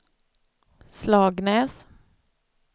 Slagnäs